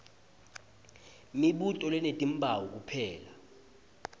mibuto lenetimphawu kuphela